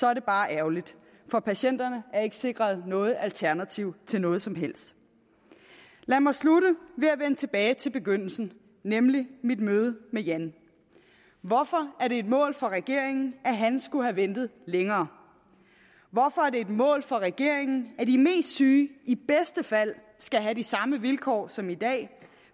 er det bare ærgerligt for patienterne er ikke sikret noget alternativ til noget som helst lad mig slutte ved at vende tilbage til begyndelsen nemlig mit møde med jan hvorfor er det et mål for regeringen at han skulle have ventet længere hvorfor er det et mål for regeringen at de mest syge i bedste fald skal have de samme vilkår som i dag